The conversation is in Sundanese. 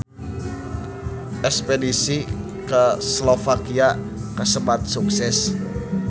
Espedisi ka Slovakia kasebat sukses